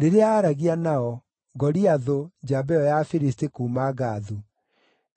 Rĩrĩa aaragia nao, Goliathũ, njamba ĩyo ya Afilisti kuuma Gathu,